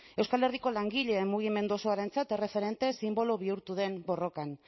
euskal herriko langile mugimendu osoarentzat erreferente sinbolo bihurtu den borrokan